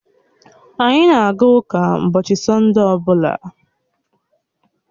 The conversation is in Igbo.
Anyị na-aga ụka ụbọchị Sọnde ọ bụla